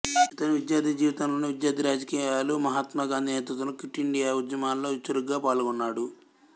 ఇతను విద్యార్థి జీవితంలోనే విద్యార్థి రాజకీయాలు మహాత్మా గాంధీ నేతృత్వంలోని క్విట్ ఇండియా ఉద్యమంలలో చురుకుగా పాల్గొన్నాడు